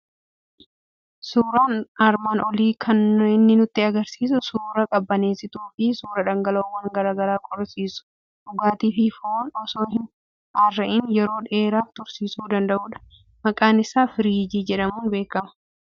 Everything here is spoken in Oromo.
Suuraan armaan olii kan inni nutti argisiisu suuraa qabbaneessituu fi suuraa dhangala'oowwan garaa garaa qorrisiisu, dhugaatii fi foon osoo hin dharraa'iin yeroo dheeraaf tursiisuu danda'udha. Maqaan isaa firiijii jedhamuun beekama.